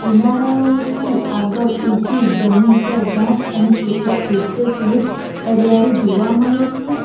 કિનારાઓ થી આગળ ઉંચી જમીન પર ઘાસ અને કેટલાક વૃક્ષો સહિત હરિયાળી જોવા મળે છે.